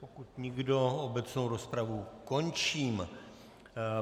Pokud nikdo, obecnou rozpravu končím.